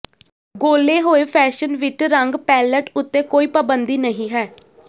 ਗੋਲੇ ਹੋਏ ਫੈਸ਼ਨ ਵਿੱਚ ਰੰਗ ਪੈਲਅਟ ਉੱਤੇ ਕੋਈ ਪਾਬੰਦੀ ਨਹੀਂ ਹੈ